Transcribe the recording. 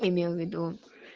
имел в виду